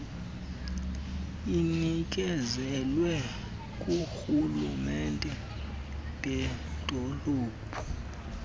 inikezelwa ngoorhulumente beedolophu